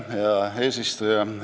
Hea eesistuja!